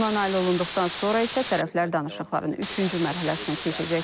Ona nail olunduqdan sonra isə tərəflər danışıqların üçüncü mərhələsinə keçəcəklər.